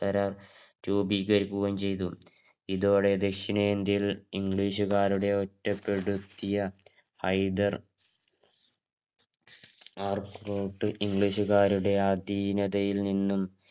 കരാർ രൂപീകരിക്കുകയും ചെയ്തു. ഇതോടെ ദക്ഷിണേന്ത്യയിൽ ഇംഗ്ലീഷുകാരുടെ ഒറ്റപ്പെടുത്തിയ ഹൈദർ R Fort ഇംഗ്ലീഷുകാരുടെ അധീനതയിൽ നിന്നും